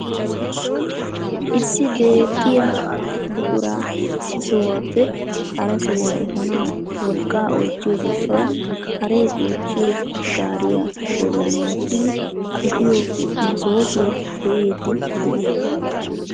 Issi deexxiyaa buquraa issi sohuwaappe hara sohuwaa epanawu wolqqaa oychchiyoo giishshawu haree goochchiyoo gaariyaa bollan wottidi epiyoo masoopiyaa be'iidi de'ees.